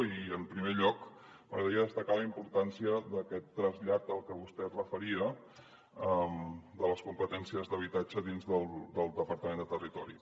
i en primer lloc m’agradaria destacar la importància d’aquest trasllat al que vostè es referia de les competències d’habitatge dins del departament de territori